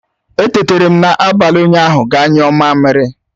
Etetara m n'abalị ụnyaahụ ga nyuo mamiri